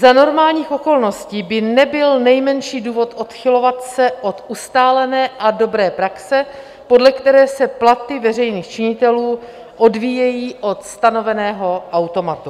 Za normálních okolností by nebyl nejmenší důvod odchylovat se od ustálené a dobré praxe, podle které se platy veřejných činitelů odvíjejí od stanoveného automatu.